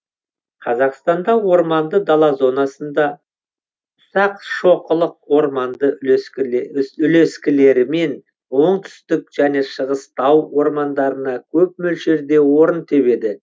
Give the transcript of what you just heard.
қазақстанда орманды дала зонасында ұсақшоқылық орманды үлескілерімен оңтүстік және шығыс тау ормандарында көп мөлшерде орын тебеді